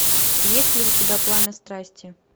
есть ли у тебя пламя страсти